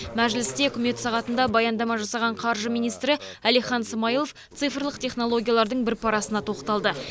мәжілісте үкімет сағатында баяндама жасаған қаржы министрі әлихан смайылов цифрлық технологиялардың бір парасына тоқталды